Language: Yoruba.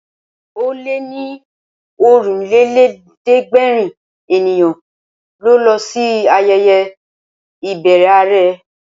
Ó lé ní Ọ̀rìnlélẹ̀ẹ́dẹ́gbèrin ènìyàn ló lọ sí ayẹyẹ ìbẹrẹ àrẹ